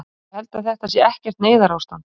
Ég held að þetta sé ekkert neyðarástand.